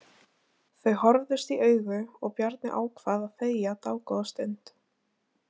Þau horfðust í augu og Bjarni ákvað að þegja dágóða stund.